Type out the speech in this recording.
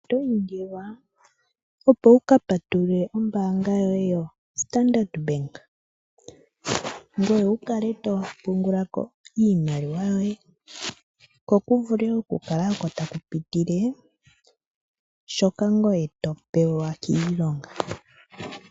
Oto indilwa opo wu ka patulule ombaanga yoye yoStandard Bank ngoye wu kale to pungula ko iimaliwa yoye ko ku vule okukala oko ta ku pitile shoka ngoye to pewa kiilonga.